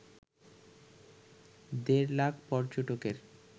দেড় লাখ পর্যটকের